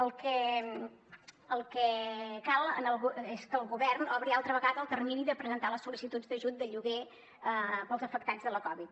el que cal és que el govern obri altra vegada el termini per presentar les sol·licituds d’ajut de lloguer per als afectats de la covid